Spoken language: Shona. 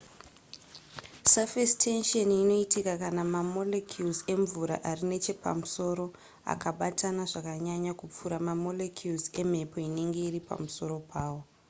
surface tension inoitika kana mamolecules emvura ari nechepamusoro akabatana zvakanyanya kupfuura mamolecules emhepo inenge iri pamusoro pawo